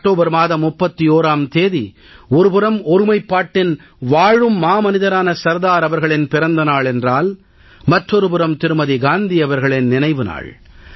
October மாதம் 31ஆம் தேதி ஒரு புறம் ஒருமைப்பாட்டின் வாழும் மாமனிதரான சர்தார் அவர்களின் பிறந்த நாள் என்றால் மற்றொரு புறம் திருமதி காந்தி அவர்களின் நினைவு நாள்